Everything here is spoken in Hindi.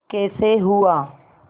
कैसे हुआ